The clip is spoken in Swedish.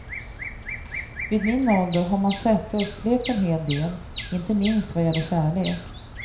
Vid min ålder har man sett och upplevt en hel del, inte minst vad gäller kärlek.